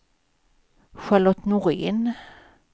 Charlotte Norén